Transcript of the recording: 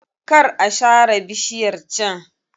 Kar a sare bishiyar can.